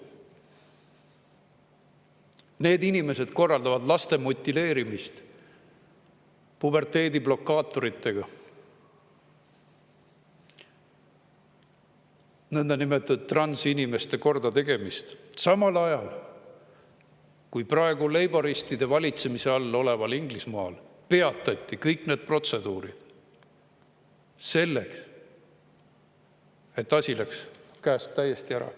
Need inimesed korraldavad laste mutileerimist puberteediblokaatoritega, nõndanimetatud transinimeste kordategemist, samal ajal kui praegu leiboristide valitsemise all oleval Inglismaal peatati kõik need protseduurid, sest asi läks käest täiesti ära.